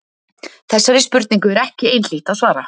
Þessari spurningu er ekki einhlítt að svara.